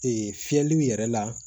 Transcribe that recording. fiyɛliw yɛrɛ la